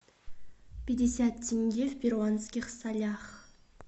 пятьдесят тенге в перуанских солях